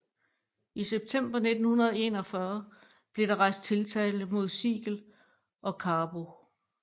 I september 1941 blev der rejst tiltale mod Siegel og Carbo